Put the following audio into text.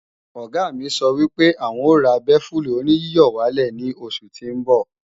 Ọ̀gá sọ wípé àwọn o ra bẹ́fù-oníyíyọ̀wálẹ̀ ní oṣù tí ń bọ̀